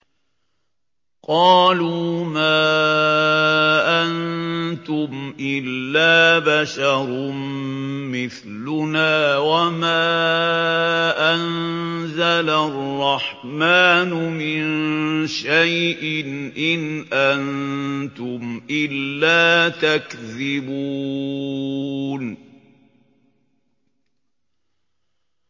قَالُوا مَا أَنتُمْ إِلَّا بَشَرٌ مِّثْلُنَا وَمَا أَنزَلَ الرَّحْمَٰنُ مِن شَيْءٍ إِنْ أَنتُمْ إِلَّا تَكْذِبُونَ